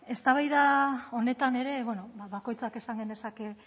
eztabaida honetan ere bakoitzak esan genezake